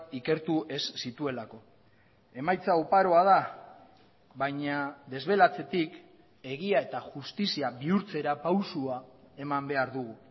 ikertu ez zituelako emaitza oparoa da baina desbelatzetik egia eta justizia bihurtzera pausua eman behar dugu